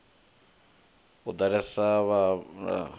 u ḓalesa ha vhanameli na